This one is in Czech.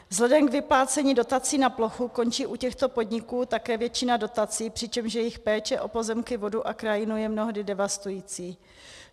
Vzhledem k vyplácení dotací na plochu končí u těchto podniků také většina dotací, přičemž jejich péče o pozemky, vodu a krajinu je mnohdy devastující.